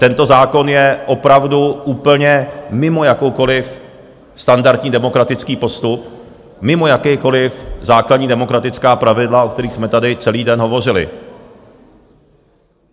Tento zákon je opravdu úplně mimo jakýkoliv standardní demokratický postup, mimo jakákoliv základní demokratická pravidla, o kterých jsme tady celý den hovořili.